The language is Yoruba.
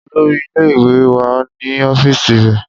Olori ile-iwe wa ni ọfiisi rẹ.